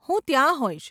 હું ત્યાં હોઈશ.